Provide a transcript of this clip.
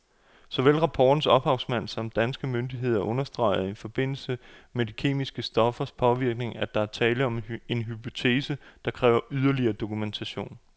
Såvel rapportens ophavsmænd samt danske myndigheder understreger i forbindelse med de kemiske stoffers påvirkning, at der er tale om en hypotese, der kræver yderligere dokumentation.